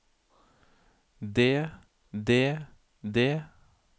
det det det